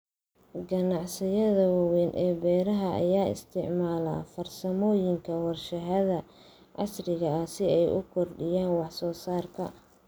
Ganacsiyada waaweyn ee beeraha ayaa isticmaala farsamooyinka warshadaha casriga ah si ay u kordhiyaan wax soo saarka.